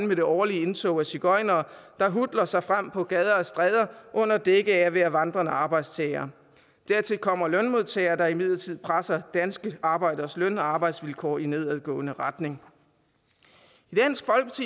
med det årlige indtog af sigøjnere der hutler sig frem på gader og stræder under dække af at være vandrende arbejdstagere dertil kommer lønmodtagere der imidlertid presser danske arbejderes løn og arbejdsvilkår i nedadgående retning